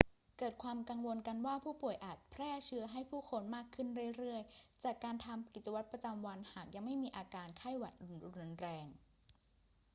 เกิดความกังวลกันว่าผู้ป่วยอาจแพร่เชื้อให้ผู้คนมากขึ้นเรื่อย ๆ จากการทำกิจวัตรประจำวันหากยังไม่มีอาการไข้หวัดรุนแรง